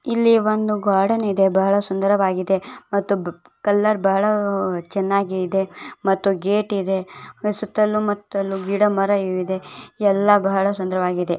ಇಲ್ಲಿ ಒಂದು ಗಾರ್ಡನ್ ಇದೆ ಬಹಳ ಸುಂದರವಾಗಿದೆ ಮತ್ತು ಕಲರ್ ಬಹಳ ಚೆನ್ನಾಗಿದೆ ಇದೆ ಮತ್ತು ಗೇಟ್ ಇದೆ ಸುತ್ತಲೂ ಮುತ್ತಲೂ ಗಿಡ ಮರ ಇದೆ ಎಲ್ಲ ಬಹಳ ಸುಂದರವಾಗಿದೆ.